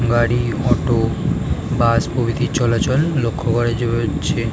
গাড়ি auto bus প্রভৃতি চলাচল লক্ষ্য করা যা-আ-চ্ছে।